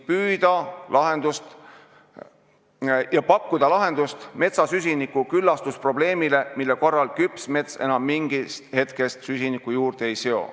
Ka saame pakkuda lahendust süsinikuga küllastuse probleemile, mille korral küps mets enam mingist hetkest süsinikku juurde ei seo.